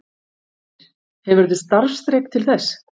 Heimir: Hefurðu starfsþrek til þess?